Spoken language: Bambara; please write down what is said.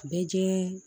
Bɛɛ jɛɛ